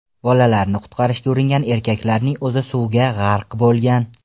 Bolalarni qutqarishga uringan erkaklarning o‘zi suvga g‘arq bo‘lgan.